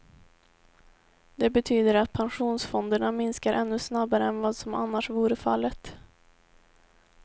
Det betyder att pensionsfonderna minskar ännu snabbare än vad som annars vore fallet.